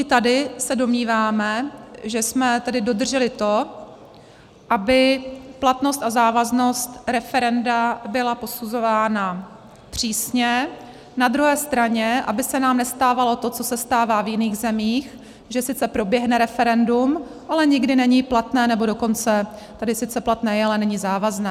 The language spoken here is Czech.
I tady se domníváme, že jsme tady dodrželi to, aby platnost a závaznost referenda byla posuzována přísně, na druhé straně aby se nám nestávalo to, co se stává v jiných zemích, že sice proběhne referendum, ale nikdy není platné, nebo dokonce - tady sice platné je, ale není závazné.